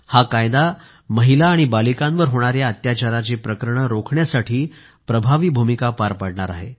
हा कायदा महिला आणि बालिकांवर होणाऱ्या अत्याचाराची प्रकरणे रोखण्यासाठी प्रभावी भूमिका पार पाडणार आहे